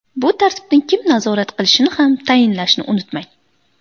Bu tartibni kim nazorat qilishini ham tayinlashni unutmang.